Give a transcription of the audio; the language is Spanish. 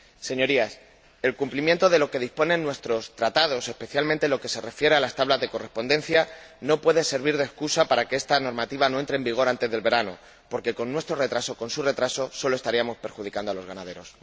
Señorías, el cumplimiento de lo que disponen nuestros Tratados, especialmente en lo que se refiere a las tablas de correspondencia, no puede servir de excusa para que esta normativa no entre en vigor antes del verano, porque con tal retraso sólo estaríamos perjudicando a los ganaderos.